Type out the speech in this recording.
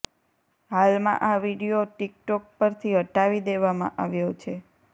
હાલમાં આ video TikTok પરથી હટાવી દેવામાં આવ્યો છે